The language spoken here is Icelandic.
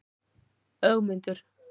Ögmundur